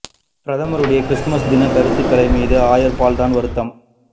பிரதமருடைய கிறிஸ்துமஸ் தின கருத்துக்கள் மீது ஆயர் பால் தான் வருத்தம்